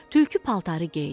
Tülkü paltarı geydi.